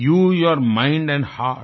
you your mind and hurt